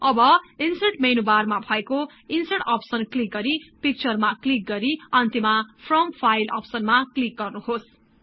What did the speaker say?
अब insert menu बारमा भएको ईन्सर्ट अप्सन क्लिक गरि पिक्चरमा क्लिक गरि अन्त्यमा फ्रम फाईल अप्सनमा क्लिक गर्नुहोस्